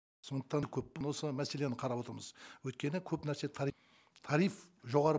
сондықтан да көп осы мәселені қарап отырмыз өйткені көп нәрсе тариф жоғары